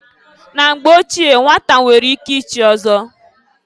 Na mgbe ochie nnwata nwere ike ichi ọzọ.